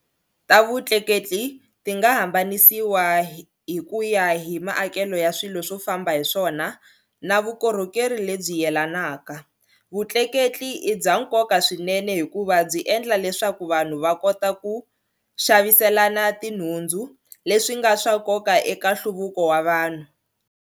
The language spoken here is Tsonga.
Tavutleketli tinga hambanisiwa hikuya hi maakele ya swilo swo famba hiswona na vukorhokeri lebyi yelanaka. Vutleketli ibyankoka swinene hikuva byi endla leswaku vanhu vakota ku xaviselana tinhundzu, leswinga swa nkoka eka nhluvuko wa vanhu.